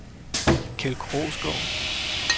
Keld Krogsgaard